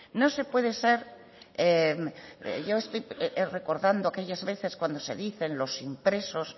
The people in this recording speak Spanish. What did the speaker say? yo estoy recordando aquellas veces cuando se dicen los impresos